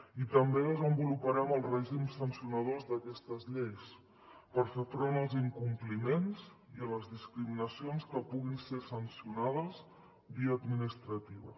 i també desenvoluparem el règim sancionador d’aquestes lleis per fer front als incompliments i a les discriminacions que puguin ser sancionades via administrativa